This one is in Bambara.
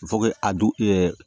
a dun